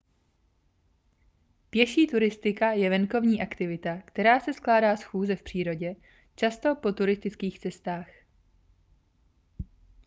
pěší turistika je venkovní aktivita která se skládá z chůze v přírodě často po turistických cestách